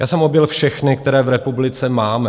Já jsem objel všechna, která v republice máme.